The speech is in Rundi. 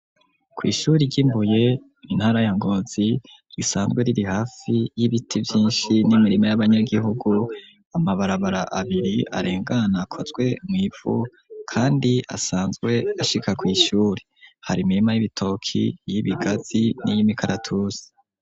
kwishuri ryi Mbuye intara ya ngonzi risanzwe riri hafi y'ibiti vyinshi n'imirima y'abanyagihugu, amabarabara abiri arengana kozwe mu ivu kandi asanzwe ashika ku ishuri hari imirima y'ibitoki, y'ibigazi, n'iy'imikaratusi.